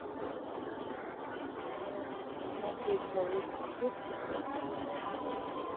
смотреть холодное сердце два